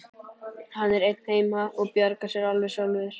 Hann er einn heima og bjargar sér alveg sjálfur.